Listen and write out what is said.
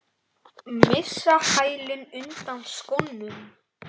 Missa hælinn undan skónum.